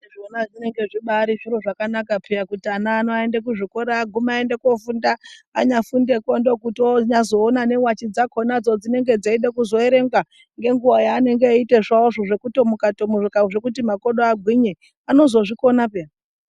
Zvona zvinenge zvibaari zviro zvakanaka peya kuti ana ano aende kuzvikora agume aende koofunda. Anyafundekwo ndooku anyazoona newachi dzakhonadzo dzinenge dzeide kuzoerengwa ngenguwa yeanenge eiite zvavozvo zvekutomuka tomuka zvekuti makodo agwinye anozozvikona peya.